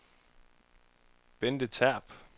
Bente Terp